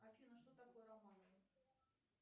афина что такое романовы